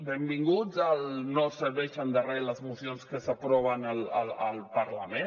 benvinguts al no serveixen de res les mocions que s’aproven al parlament